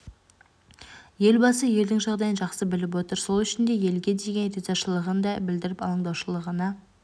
елбасы елдің жағдайын жақсы біліп отыр сол үшін де елге деген ризашылығын да білдіріп алаңдаушылығына